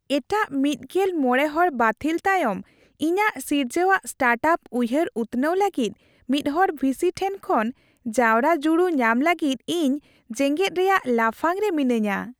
ᱮᱴᱟᱜ ᱑᱕ ᱦᱚᱲ ᱵᱟᱹᱛᱷᱤᱞ ᱛᱟᱭᱚᱢ ᱤᱧᱟᱹᱜ ᱥᱤᱨᱡᱟᱹᱣᱟᱜ ᱥᱴᱟᱨᱴᱟᱯ ᱩᱭᱦᱟᱹᱨ ᱩᱛᱱᱟᱹᱣ ᱞᱟᱹᱜᱤᱫ ᱢᱤᱫᱦᱚᱲ ᱵᱷᱤᱥᱤ ᱴᱷᱮᱱ ᱠᱷᱚᱱ ᱡᱟᱣᱨᱟ ᱡᱩᱲᱩ ᱧᱟᱢ ᱞᱟᱹᱜᱤᱫ ᱤᱧ ᱡᱮᱜᱮᱫ ᱨᱮᱭᱟᱜ ᱞᱟᱯᱷᱟᱝ ᱨᱮ ᱢᱤᱱᱟᱹᱧᱟ ᱾